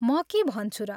म के भन्छु र।